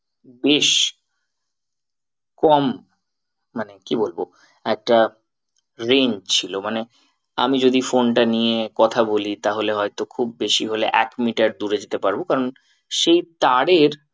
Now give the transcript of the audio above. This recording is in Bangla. বেশ কম মানে কি বলবো একটা range ছিল মানে আমি যদি phone টা নিয়ে কথা বলি তাহলে হয়তো খুব বেশি হলে এক meter দূরে যেতে পারবো কারণ সেই তারের